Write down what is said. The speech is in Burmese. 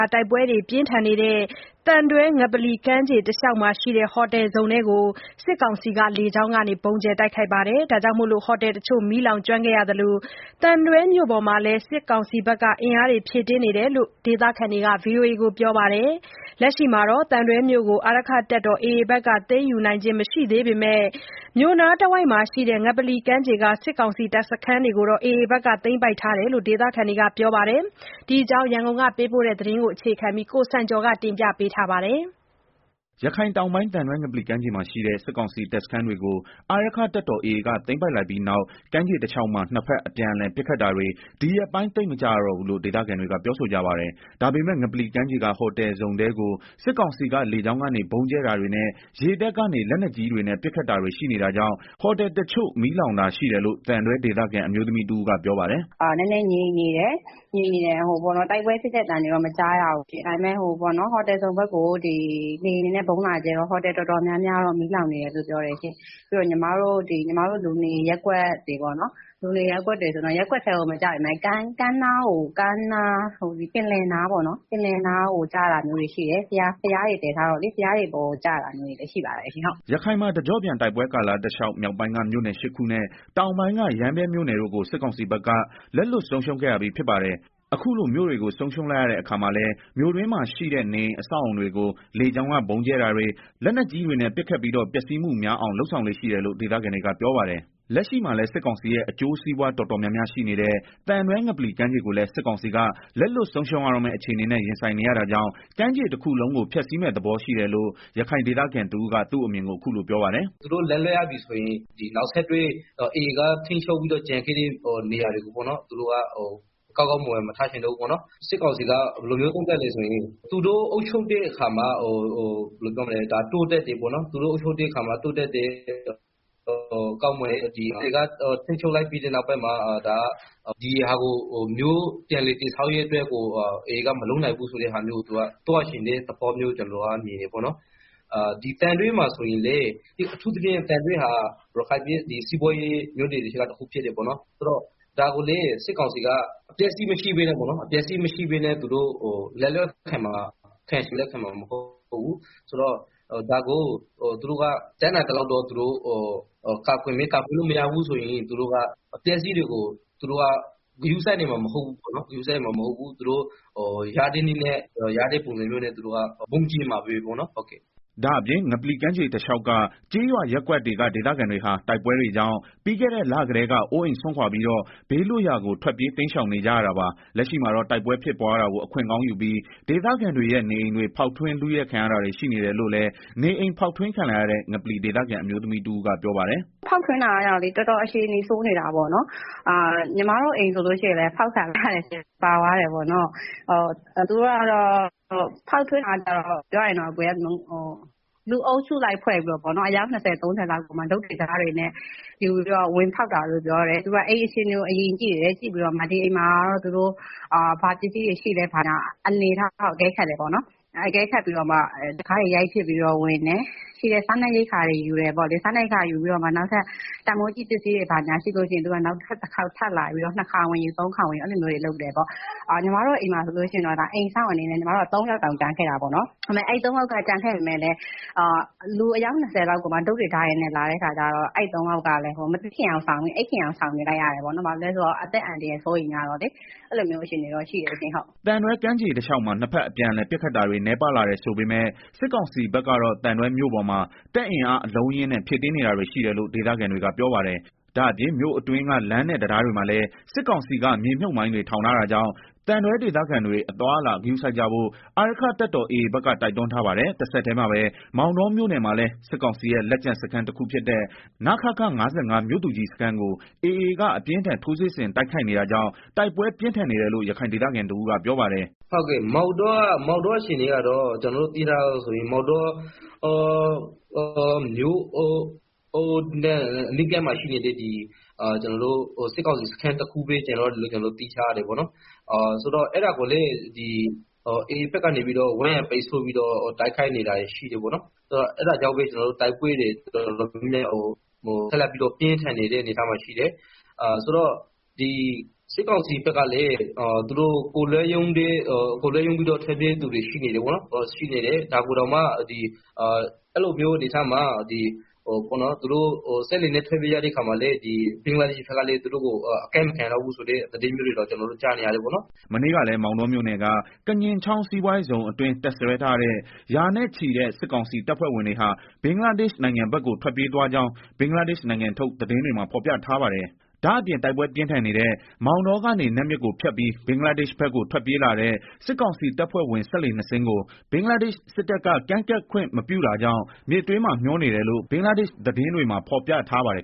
း တိုက်ပွဲတွေ ပြင်းထန်နေတဲ့ သံတွဲ ငပလီကမ်းခြေတလျောက်မှာရှိတဲ့ ဟိုတယ်ဇုန်ထဲကို စစ်ကောင်စီက လေကြောင်းကနေ ဗုံးကြဲနေတာကြောင့် ဟိုတယ် တချို့ မီးလောင်နေတာရှိသလို သံတွဲမြို့ပေါ်မှာလည်း စစ်အင်အား ဖြည့်တင်းထားတယ်လို့ ဒေသခံတွေက ဗွီအိုအေကို ပြောပါတယ်။ လက်ရှိမှာတော့ သံတွဲမြို့ကို အာရက္ခတပ်တော် AA က သိမ်းယူနိုင်ခြင်း မရှိသေးပေမဲ့ မြို့နားတဝိုက် ငပလီကမ်းခြေက စစ်ကောင်စီတပ်စခန်းတွေကို သိမ်းပိုက်ထားတယ်လို့ ဒေသခံတွေက ပြောပါတယ်။ ဒီအကြောင်း သတင်းပေးပို့ချက်ကို အခြေခံပြီး ကိုစံကျော်က တင်ပြပါမယ်။ ရခိုင်တောင်ပိုင်း၊ သံတွဲ ငပလီကမ်းခြေမှာရှိတဲ့ စစ်ကောင်စီတပ်စခန်းတွေကို အာရက္ခတပ်တော် AA က သိမ်းပိုက်လိုက်ပြီးနောက် ကမ်းခြေတလျောက်မှာ နှစ်ဘက် အပြန်အလှန် ပစ်ခတ်တာတွေ ဒီရက်ပိုင်း သိမ်မကြားရတော့ဘူးလို့ ဒေသခံတွေက ပြောဆိုကြပါတယ်။ ဒါပေမယ့်လည်း ငပလီကမ်းခြေက ဟိုတယ်ဇုန်ထဲကို စစ်ကောင်စီက လေကြောင်းကနေ ဗုံးကြဲတာတွေနဲ့ ရေတပ်ကနေ လက်နက်ကြီးတွေနဲ့ ပစ်ခတ်တာတွေရှိနေတာကြောင့် ဟိုတယ်တချို့ မီးလောင်တာရှိတယ်လို့ သံတွဲဒေသခံ အအမျိုးသမီးတဦးက ပြောပါတယ်။ “ နည်းနည်းငြိမ်နေတယ်၊ တိုက်ပွဲဖြစ်တဲ့ အသံတော့ မကြားရဘူး ဒါပေမယ့် ဟိုတယ်ဇုန် ဘက်ကိုတော့ လေယာဉ်နဲ့ဗုံးလာကြဲတော့ ဟိုတယ်တော်တော်များများတော့ မီးလောင်နေတယ်လို့ ကြားရပါတယ်၊ ပြီးတော့ လူနေရပ်ကွက်တွေမှာလည်း ရပ်ကွက်ထဲကို မကျပေမယ့် ပင်လယ်ကမ်းနားကို ကျတာမျိုးတွေရှိတယ်၊ ဘုရားတွေပေါ်ကို ကျတာမျိုးတွေ လည်းရှိပါ တယ်။” ရခိုင်မှာ တကြော့ပြန် တိုက်ပွဲကာလတလျောက် မြောက်ပိုင်းက မြို့နယ် ၈ခုနဲ့ တောင်ပိုင်းက ရမ်းဗြဲမြို့နယ်တို့ကို စစ်ကောင်စီဘက်က လက်လွှတ်ဆုံးရှုံးခဲ့ရပြီး ဖြစ်ပါတယ်။ အခုလို မြို့တွေကို ဆုံးရှုံးလိုက်ရတဲ့ အခါမှာလည်း မြို့တွင်းမှာရှိတဲ့ နေအိမ် အဆောက်အအုံတွေကို လေကြောင်းက ဗုံးကြဲတာတွေ၊ လက်နက်ကြီးတွေနဲ့ ပစ်ခတ်ပြီးတော့ ပျက်စီးမှုများအောင် လုပ်ဆောင်လေ့ရှိတယ်လို့ ဒေသခံတွေက ပြောပါတယ်။ လက်ရှိမှာလည်း စစ်ကောင်စီရဲ့ အကျိုးစီးပွား တော်တော်များများရှိနေတဲ့ သံတွဲ ငပလီကမ်းခြေကိုလည်း စစ်ကောင်စီက လက်လွတ် ဆုံးရှုံးရတော့မယ့် အခြေအနေနဲ့ ရင်ဆိုင်နေရတာကြောင့် ကမ်းခြေတခုလုံးကို ဖျက်ဆီးမယ့်သဘော ရှိတယ်လို့ ရခိုင်ဒေသခံတဦးက သူ့အမြင်ကို အခုလို ပြောပြပါတယ်။ “ သူတို့က နယ်မြေတခုကို လက်လွတ်ရတော့မယ်ဆိုရင် AA ထိန်းချုပ်မယ့်နေရာတွေကို ကောင်းကောင်းမွန်မွန် မထားခဲ့ချင်ဘူး၊ စစ်ကောင်စီက ဘယ်လိုလဲဆိုတော့ သူတို့အုပ်ချုပ်တဲ့ အခါ သူတို့ အုပ်ချုပ်ထားတဲ့ အခါ တိုးတက်တယ် ကောင်းမွန်တယ်၊ AAကထိန်းချုပ် လိုက်ပြီး နောက်ပိုင်းမှာ ပြန်လည်တည်ဆောက်ရေးအတွက်ကို AAကမလုပ်နိုင်ဘူးဆိုတာမျိုး သွားချင်တဲ့ သဘောလို့ မြင်တယ်၊ သံတွဲမှာဆိုရင်လည်း အထူးသဖြင့် သံတွဲဟာ ရခိုင်ပြည် နယ်ရဲ့ စီးပွားရေးမြို့နယ်တွေထဲက တမြို့ဖြစ်တယ်၊ ဆိုတော့ ဒီမြို့ကို စစ်ကောင်စီက အပျက်အစီးမရှိပဲနဲ့ လက်လွတ်ခံမှာ မဟုတ်ဘူး၊ သူတို့က တတ်နိုင်သလောက်တော့ ကာကွယ်မယ် ကာကွယ်လို့မရတော့ဘူးဆိုရင်တော့ အပျက်အစီးတွေကို ဂရုစိုက်မှာမဟုတ်ဘူး။ ရတဲ့နည်းနဲ့ ရတဲ့ပုံစံမျိုးနဲ့ သူတို့ ဗုံးကြဲခဲ့မှာပဲ။” ဒါ့အပြင်ငပလီကမ်းခြေတလျောက်က ကျေးရွာ/ရပ်ကွက်တွေက ဒေသခံတွေဟာ တိုက်ပွဲတွေကြောင့် ပြီးခဲ့တဲ့ လကတည်းက အိုးအိမ် စွန်ခွာပြီးတော့ ဘေးလွတ်ရာကို ထွက်ပြေး တိမ်းရှောင်နေကြရတာပါ။ လက်ရှိမှာတော့ တိုက်ပွဲဖြစ်ပွားတာကို အခွင့်ကောင်းယူပြီး ဒေသခံတွေရဲ့ နေအိမ်တွေ ဖောက်ထွင်း လုယှက်ခံရတာတွေ ရှိနေတယ်လို့လည်း နေအိမ် ဖောက်ထွင်းခံလိုက်ရတဲ့ ငပလီဒေသခံ အမျိုးသမီးတဦးက ပြောပါတယ်။ “ ဖောက်ထွင်းတာကကျတော့လေ တော်တော် အခြေအနေဆိုးနေတာပေါ့နော်။ ညီမတို့ အိမ်ဆိုလို့ရှိရင်လည်း ဖောက်ခံလိုက်ရတယ် ပါသွားတယ်။ ဖောက်ထွင်းတာကလည်း လူအုပ်စုလိုက်ဖွဲ့ပြီးတော့ အယောက် ၂ဝလောက် တုတ်တွေ၊ ဓားတွေနဲ့ လာပြီးတော့ ဝင်ဖောက်တာလို့ ပြောတယ်။ သူတို့က အိမ်အခြေအနေကို အရင်ကြည့်တယ်၊ ပြီးတော့မှ ဒီအိမ်မှာ ဘာပစ္စည်းတွေရှိလဲ အနေအထားကို ကြည့်ပြီးမှ တံခါးတွေ ရိုက်ဖျက်ပြီးတော့ ဝင်တယ်။ ရှိတဲ့ စားနပ်ရိက္ခာတွေ ယူတယ်။ ပြီးတော့မှ တန်းဖိုးရှိပစ္စည်းတွေ ရှိတယ်ဆိုရင် နောက်ထပ်တခေါက် ထပ်လာပြီးတော့ ထပ်လာယူတယ်၊ အဲလိုလုပ်တာ။ ညီမတို့ အိမ်မှာဆိုရင် အိမ်စောင့်အနေနဲ့ ၃ယောက် တောင် ကျန်ခဲ့တာပေါ့နော်။ ဒါပေမယ့်လည်း လူအုပ်စုက တုတ်တွေ ဓားတွေနဲ့ဆိုတော့ မသိချင်ယောင်ဆောင်ပြီး အိပ်နေလိုက်ရတယ်။ အသက်အန္တရာယ်လည်း စိုးရိမ်ရတော့လေ အဲလိုအခြေအနေဖြစ်နေတယ်။” သံတွဲကမ်းခြေတလျောက်မှာ နှစ်ဘက်အပြအလှန်ပစ်ခတ်တာတွေနည်းပါး လာတယ်ဆို ပေမယ့် စစ်ကောင်စီဘက်ကတော့ သံတွဲမြို့ပေါ်မှာ တပ်အင်အားအလုံးအရင်းနဲ့ ဖြည့်တင်းနေတာတွေရှိတယ်လို့ ဒေသခံတွေက ပြောပါတယ်။ဒါ့အပြင် မြို့အတွင်းက လမ်းနဲ့ တံတားတွေမှာလည်း စစ်ကောင်စီကမြေမြုပ်မိုင်းတွေ ထောင်တာတာကြောင့် သံတွဲဒေသခံတွေ အသွားအလာဂရုစိုက်ကြဖို့ အာရက္ခတပ်တော် AA ဘက်က တိုက်တွန်းထားပါတယ်။ တဆက်တည်းမှာပဲ မောင်တောမြို့နယ်မှာလည်း စစ်ကောင်စီရဲ့ လက်ကျန်စခန်း တခုဖြစ်တဲ့ နခခ မြို့သူကြီးစခန်းကို AA က အပြင်းအထန် ထိုးစစ်ဆင် တိုက်ခိုက်နေတာကြောင့် တိုက်ပွဲ ပြင်းထန်နေတယ်လို့ ရခိုင်ဒေသခံတဦးက ပြောပါတယ်။ "မောင်တောမှာက ကျနော်တို့ သိရသလောက်ဆိုရင် မြို့နဲ့ အနီးဆုံးစခန်းတခုပဲ ကျန်တော့တယ်လို့ ကျနော်တို့ သိထားရတယ်။ အဲတာကိုလည်း AA က ဝန်းရံပိတ်ဆို့ပြီးတော့ တိုက်ခိုက်နေတာရှိတော့ တိုက်ပွဲတွေ ပြင်းထန်နေတယ်။ စစ်ကောင်စီဘက်ကလည်း တပ်သားတချို့လည်း ကိုယ်လွတ်ရုန်းပြီးတော့ ထွက်ပြေးနေကြတယ်။ စက်လှေနဲ့ ထွက်ပြေးသူတချို့ကိုလည်း ဘင်္ဂလားဒေရှ့်ဘက်က ကမ်းကိုအကပ်မခံဘူးလို့လည်း ကျနော်တို့ ကြားရတယ်။” မနေ့ကလည်း မောင်တောမြို့နယ်က ကညင်ချောင်း စီးပွားရေးဇုန်အတွင်း တပ်စွဲထားတဲ့ ရာနဲ့ချီတဲ့ စစ်ကောင်စီတပ်ဖွဲ့ဝင်တွေဟာ ဘင်္ဂလားဒေရှ့်နိုင်ငံဘက်ကို ထွက်ပြေးသွားကြောင်း ဘင်္ဂလားဒေ့ရှ်နိုင်ငံထုတ် သတင်းတွေမှာ ဖော်ပြထားပါတယ်။ ဒါ့အပြင် တိုက်ပွဲပြင်း ထန်နေတဲ့ မောင်တောကနေ နတ်မြစ်ကိုဖြတ်ပြီး ဘင်္ဂလားဒေရှ့်် ဘက်ကို ထွက်ပြေးလာတဲ့ စစ်ကောင်စီတပ်ဖွဲ့ဝင် စက်လှေနှစ်စင်းကို ဘင်္ဂလားဒေရှ့်စစ်တပ်က ကမ်းကပ်ခွင့်မပြုတာကြောင့် မြစ်တွင်းမှာ မျောနေတယ်လို့ ဘင်္ဂလားဒေရှ့်သတင်း တွေမှာဖော်ပြထားပါတယ်